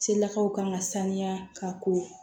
Selakaw kan ka sanuya ka ko